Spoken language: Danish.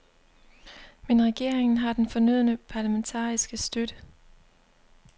Men regeringen har den fornødne parlamentariske støtte.